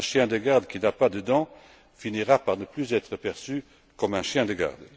Un chien de garde qui n'a pas de dents finira par ne plus être perçu comme un chien de garde.